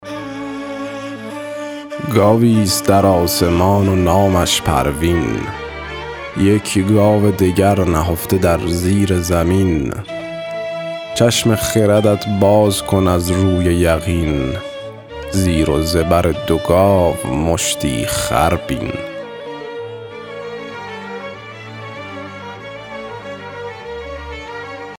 گاوی ست در آسمان و نامش پروین یک گاو دگر نهفته در زیر زمین چشم خردت باز کن از روی یقین زیر و زبر دو گاو مشتی خر بین